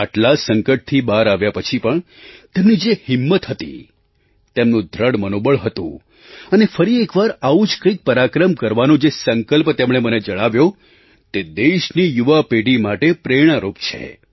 આટલા સંકટથી બહાર આવ્યા પછી પણ તેમની જે હિંમત હતી તેમનું દૃઢ મનોબળ હતું અને ફરી એક વાર આવું જ કંઈક પરાક્રમ કરવાનો જે સંકલ્પ તેમણે મને જણાવ્યો તે દેશની યુવા પેઢી માટે પ્રેરણારૂપ છે